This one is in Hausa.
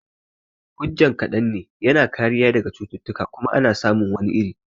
Hujjan kaɗan ne, yana kariya daga cututtuka kuma ana samun wani iri